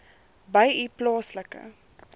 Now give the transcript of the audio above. by u plaaslike